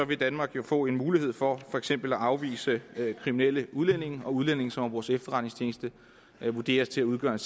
vil danmark jo få en mulighed for for eksempel at afvise kriminelle udlændinge og udlændinge som af vores efterretningstjeneste vurderes at udgøre en